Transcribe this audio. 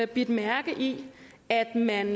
bidt mærke i at man